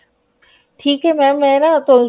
ਠੀਕ ਹੈ mam ਮੈਂ ਨਾ